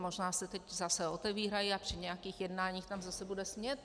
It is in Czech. Možná se teď zase otevírají a při nějakých jednáních tam zase bude smět.